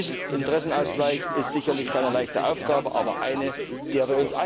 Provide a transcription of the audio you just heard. Dieser Interessenausgleich ist sicherlich keine leichte Aufgabe, aber eine, der